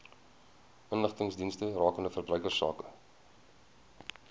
inligtingsdienste rakende verbruikersake